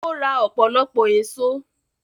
Ó ra ọ̀pọ̀lọpọ̀ èsó.